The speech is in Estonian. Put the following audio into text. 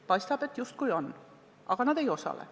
Paistab, et justkui on, aga nad ei osale.